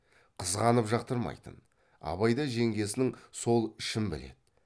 қызғанып жақтырмайтын абай да жеңгесінің сол ішін біледі